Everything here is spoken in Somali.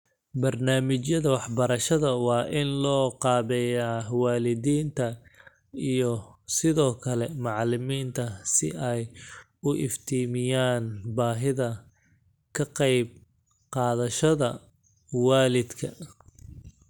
Barnaamijyada waxbarashada waa in loo qaabeeyaa waalidiinta iyo sidoo kale macalimiinta si ay u iftiimiyaan baahida ka qayb qaadashada waalidka.